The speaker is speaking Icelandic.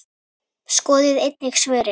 Skoðið einnig svörin